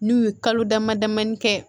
N'u ye kalo dama damanin kɛ